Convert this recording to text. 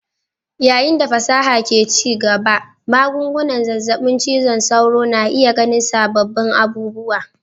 Yayin da fasaha ke ci gaba, magungunan zazzabin cizon sauro na iya ganin sabbin abubuwa.